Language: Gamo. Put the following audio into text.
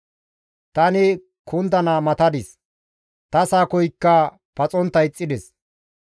Tani kundana matadis; ta sakoykka paxontta ixxides.